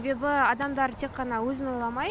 себебі адамдар тек қана өзін ойламай